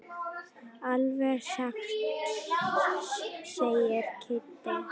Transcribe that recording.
Alveg satt segir Kiddi.